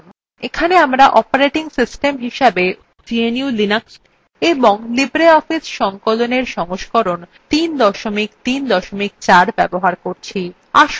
এখানে আমরা operating system হিসেবে gnu/linux এবং libreoffice সংকলনএর সংস্করণ ৩ ৩ ৪ ব্যবহার করছি